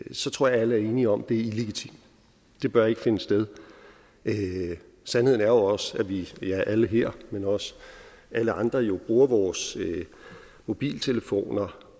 så tror jeg alle er enige om at det er illegitimt det bør ikke finde sted sandheden er jo også at vi alle her men også alle andre jo bruger vores mobiltelefoner